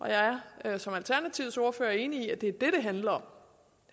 jeg er som alternativets ordfører enig i at det er det det handler om